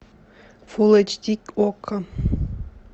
фул эйч ди окко